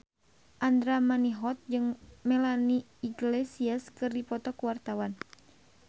Andra Manihot jeung Melanie Iglesias keur dipoto ku wartawan